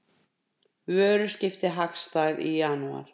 Vöruskipti hagstæð í janúar